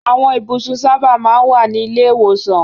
Àwọn ibùsùn sábà máa ń wà ní ilé-ìwòsàn.